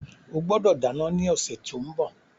O gbọdọ̀ dáná ní ọ̀sẹ̀ tí ó ń bọ̀.